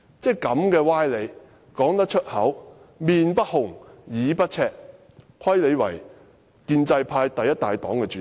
"這種歪理也能說出口，而且面不紅，耳不赤，真虧她是建制派第一大黨的主席。